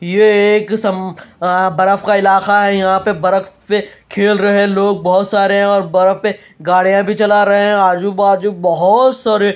ये एक सम आ बरफ का इलाका है यहां पे बरख्त पे खेल रहे लोग बोहोत सारे और बरफ पे गाड़ियां भी चला रहे हैं आजू-बाजू बोहोत सारे --